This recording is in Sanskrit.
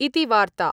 ॥ इति वार्ता ॥